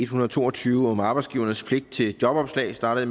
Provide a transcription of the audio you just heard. hundrede og to og tyve om arbejdsgivernes pligt til jobopslag startede